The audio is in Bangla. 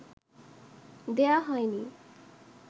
দেয়া হয় নি